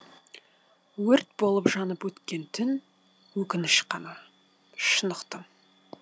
өрт болып жанып өткен түн өкініш ғана шын ұқтым